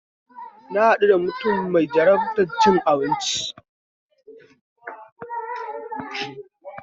Na haɗu da wani mutum mai jarabar cin abinci